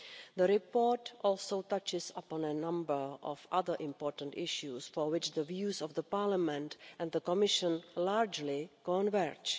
The report also touches upon a number of other important issues for which the views of Parliament and the Commission largely converge.